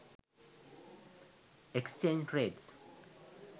exchange rates